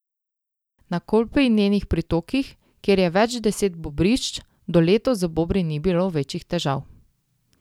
Na Kolpi in njenih pritokih, kjer je več deset bobrišč, do letos z bobri ni bilo večjih težav.